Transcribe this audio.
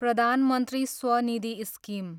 प्रधान मन्त्री स्वनिधि स्किम